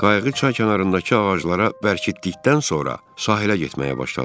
Qayığı çay kənarındakı ağaclara bərkitdikdən sonra sahilə getməyə başladım.